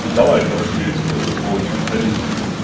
и давай короче если что тоже на улицу выходи там